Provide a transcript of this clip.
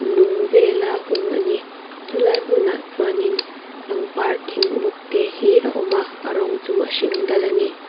lung vela hung a ni chu lai hmunah chuan in pangpar thing buk te hi a awma a rawng chu a hring dal a ni.